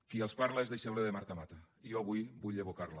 qui els parla és deixeble de marta mata i jo avui vull evocar la